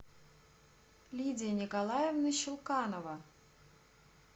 лидия николаевна щелканова